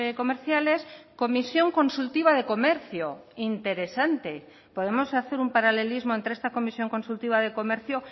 comerciales comisión consultiva de comercio interesante podemos hacer un paralelismo entre esta comisión consultiva de comercio